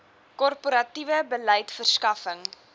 korporatiewe beleid verskaffing